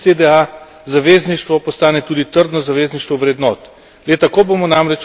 Zato naj EU ZDA zavezništvo postane tudi trdno zavezništvo vrednot.